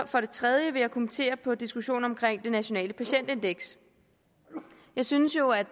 for det tredje vil jeg kommentere diskussionen om nationalt patientindeks jeg synes jo at